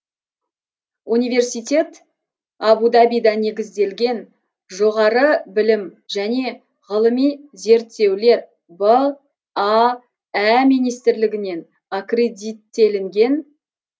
университет абу дабида негізделген жоғары білім және ғылыми зерттеулер баә министрлігінен аккредиттелінген